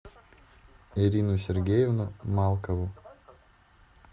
ирину сергеевну малкову